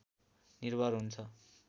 निर्भर हुन्छ